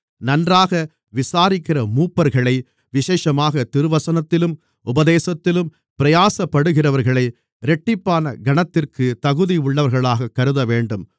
நன்றாக விசாரிக்கிற மூப்பர்களை விசேஷமாகத் திருவசனத்திலும் உபதேசத்திலும் பிரயாசப்படுகிறவர்களை இரட்டிப்பான கனத்திற்கு தகுதியுள்ளவர்களாகக் கருதவேண்டும்